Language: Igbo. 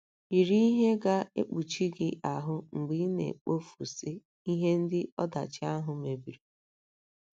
Yiri ihe ga - ekpuchi gị ahụ́ mgbe ị na - ekpofusi ihe ndị ọdachi ahụ mebiri.